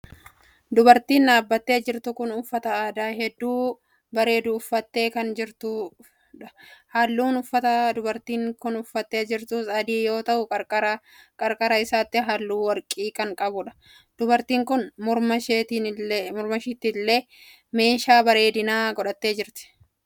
Dubartiin dhaabbattee jirtu kun uffata aadaa hedduu bareedu uffattee dhaabachaa jirti. Halluun uffataa dubartiin kun uffattee jirtus adii yeroo ta'u qarqara qarqara isaatiis halluu warqii kan qabudha. Dubartiin kun mormasheettillee meeshaa baredinaa godhattee jirti.